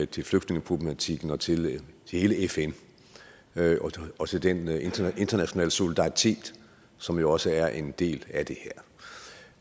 til flygtningeproblematikken og til hele fn og til den internationale solidaritet som jo også er en del af det